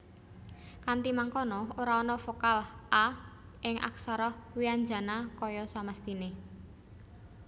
Kanthi mangkono ora ana vokal /a/ing aksara wianjana kaya samestiné